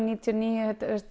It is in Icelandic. níutíu og níu